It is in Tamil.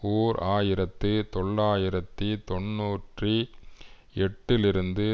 ஓர் ஆயிரத்து தொள்ளாயிரத்தி தொன்னூற்றி எட்டுலிருந்து